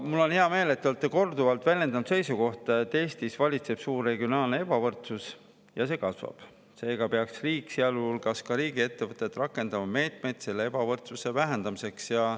Mul on hea meel, et te olete korduvalt väljendanud seisukohta, et Eestis valitseb suur regionaalne ebavõrdsus ja see kasvab, seega peaks riik, sealhulgas riigiettevõtted, rakendama meetmeid selle ebavõrdsuse vähendamiseks.